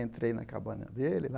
Entrei na cabana dele lá.